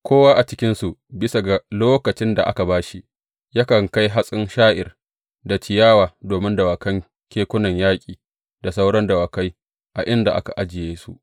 Kowa a cikinsu, bisa ga lokacin da aka ba shi, yakan kai hatsin sha’ir da ciyawa domin dawakan kekunan yaƙi, da sauran dawakai a inda aka ajiye su.